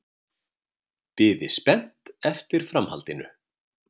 Biði spennt eftir framhaldinu.